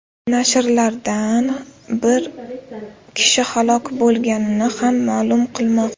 Nashrlardan biri bir kishi halok bo‘lganini ham ma’lum qilmoqda.